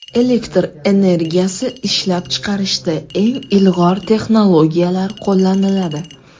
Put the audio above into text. Elektr energiyasi ishlab chiqarishda eng ilg‘or texnologiyalar qo‘llaniladi.